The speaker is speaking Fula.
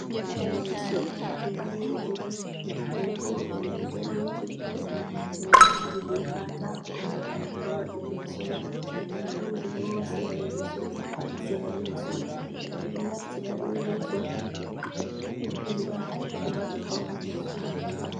Leeso ɓalejum, be hore mai daneejum, ɓe naftiri be kaatako un ɓe wadiri leeso mai. Nda don durowa sera leeso, ha sera leeso mai. Ɓe ɗo naftira be leeso walira kuma ɓe faunira suudu.